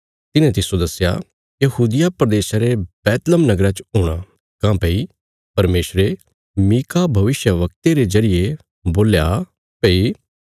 तिन्हे तिस्सो दस्या यहूदिया प्रदेशा रे बैतलहम नगरा च हूणा काँह्भई परमेशरे मीका भविष्यवक्ते रे जरिये बोल्या भई